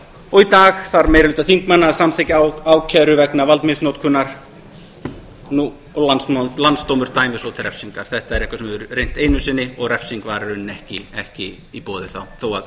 og í dag þarf meiri hluti þingmanna að samþykkja ákæru vegna valdmisnotkunar og landsdómur dæmir svo til refsingar þetta er eitthvað sem við höfum reynt einu sinni og refsing var í rauninni ekki í boði þá þó að